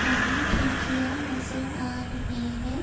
हमें खिड़कियां नजर आ रहे हैं।